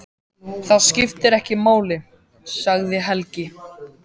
Það skiptir ekki máli, sagði Helgi.